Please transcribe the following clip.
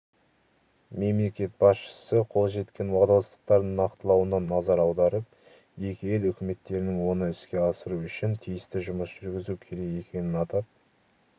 мемлекет басшысы қол жеткен уағдаластықтардың нақтылануына назар аударып екі ел үкіметтерінің оны іске асыру үшін тиісті жұмыс жүргізу керек екенін атап